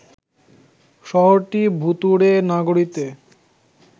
শহরটি ভুতুড়ে নগরীতে